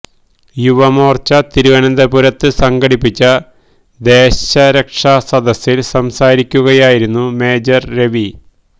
യുവമോർച്ച തിരുവനന്തപുരത്ത് സംഘടിപ്പിച്ച ദേശ രക്ഷാ സദസ്സിൽ സംസാരിക്കുകയായിരുന്നു മേജർ രവി